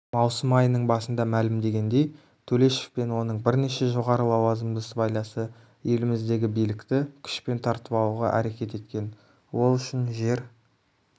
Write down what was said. маусым айының басында мәлімдегендей төлешов пен оның бірнеше жоғары лауазымды сыбайласы еліміздегі билікті күшпен тартып алуға әрекет еткен ол үшін жер